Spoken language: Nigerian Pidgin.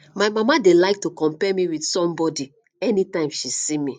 my mama dey like to compare me with somebody anytime she see me